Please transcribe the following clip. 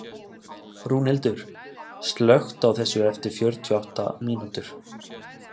Rúnhildur, slökktu á þessu eftir fjörutíu og átta mínútur.